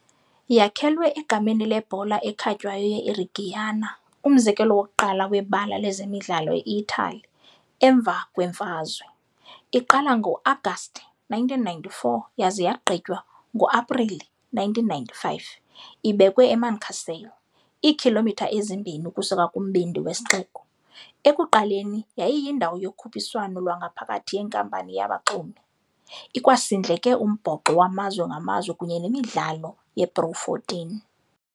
Yakhelwe egameni lebhola ekhatywayo ye IReggiana, umzekelo wokuqala webala lezemidlalo eItali emva kwemfazwe, iqala ngo-Agasti 1994 yaza yagqitywa ngo-Aprili 1995, ibekwe eMancasale, iikhilomitha ezimbini ukusuka kumbindi wesixeko, ekuqaleni yayiyindawo yokhuphiswano lwangaphakathi yenkampani yabaxumi, ikwasindleke umbhoxo wamazwe ngamazwe kunye nemidlalo yePro14.